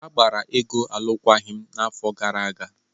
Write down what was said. Agbara Ego alụkwaghịm n'afọ gara aga.